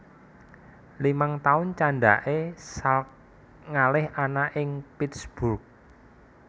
Limang taun candhake Salk ngalih ana ing Pittsburgh